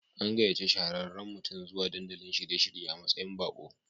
An gayaci shahararran mutum zuwa dandalin shiye-shirye a matsayin bako.